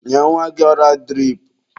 Nye nwa gị ọra dirip.